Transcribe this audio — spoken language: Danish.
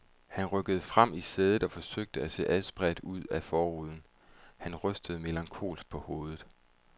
Han rykkede frem i sædet og forsøgte at se adspredt ud ad frontruden. Han rystede melankolsk på hovedet.